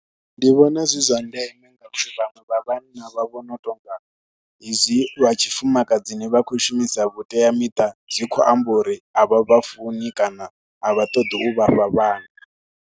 Ndi vhona zwi zwa ndeme nga vhaṅwe vha vhanna vha vhona u tou nga hezwi vha tshifumakadzini vha khou shumisa vhuteamiṱa zwi khou amba uri a vha vha funi kana a vha ṱoḓi u vha fha vhana.